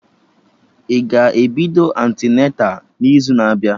Ị ga-ebido antịneta n'izu na abịa?